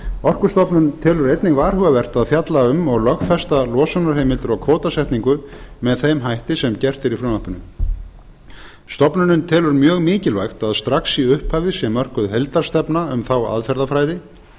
orkustofnun telur einnig varhugavert að fjalla um og lögfesta losunarheimildir og kvótasetningu með þeim hætti sem gert er í frumvarpinu stofnunin telur mjög mikilvægt að strax í upphafi sé mörkuð heildarstefna um þá aðferðafræði